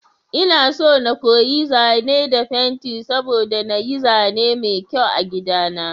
Inaso na koyi zane da fenti saboda na yi zane mai kyau a gida na.